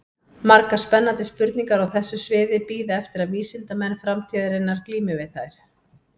Margar spennandi spurningar á þessu sviði bíða eftir að vísindamenn framtíðarinnar glími við þær.